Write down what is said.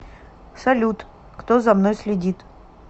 салют кто за мной следит